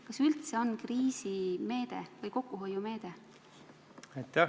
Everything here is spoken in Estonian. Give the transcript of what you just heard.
Kas see üldse on kriisimeede või kokkuhoiumeede?